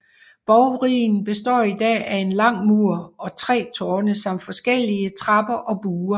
Borgruinen består i dag af en lang mur og tre tårne samt forskellige trapper og buer